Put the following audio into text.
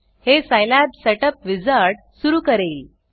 हे Scilab setup wizard सुरू करेल